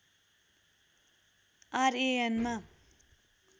RAN मा